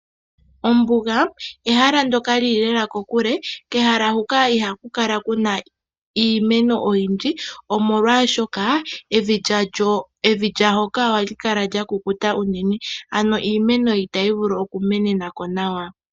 Ombuga ehala ndoka lili lela kokule, kehala huka ihaku kala kuna iimeno oyindji omolwashoka evi lyaahoka ohali kala lyakukuta uunene, ano iimeno itayi vulu okumenenako nawa.